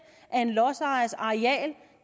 af en lodsejers areal